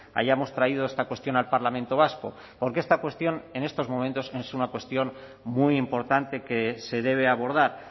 hayamos traído esta cuestión al parlamento vasco porque esta cuestión en estos momentos es una cuestión muy importante que se debe abordar